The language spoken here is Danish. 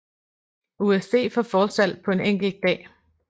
USD for forsalg på en enkelt dag